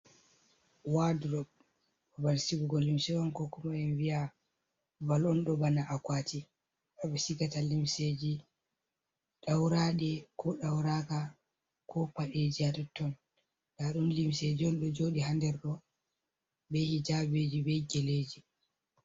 Wodrop babal sigugo limse on, koo kuma en wiya babal on bana akwati ɓe sigata limseeji ɗawraaɗe, koo ɗawraaka, koo paɗeeji haa ton-ton, nda ɗum limseeji on ɗo joodɗi haa nder bee hijaabiiji, bee geleeji.